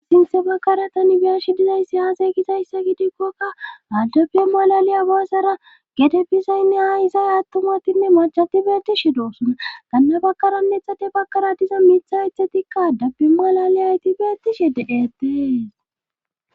sinthe bakara tani biyash dizayssi haasey gisayssa gidikkokka adabe malaliya boossera gede bizaynne haa izay attumatinne machati beetishi doosuna gannabakaronethade bakara diza miitha ethe tikka adabi malale hayti beetishe de7etees